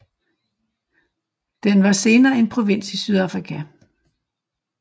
Den var senere en provins i Sydafrika